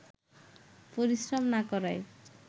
পরিশ্রম না করায়